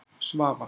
Svavar